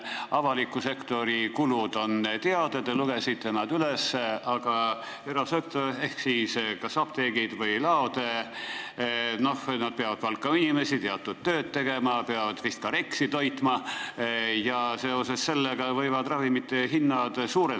Avaliku sektori kulud on teada, te lugesite need üles, aga erasektor ehk apteegid või laod peavad palkama inimesi teatud tööd tegema, nad peavad vist ka REKS-i toitma, ja seoses sellega võivad ravimite hinnad tõusta.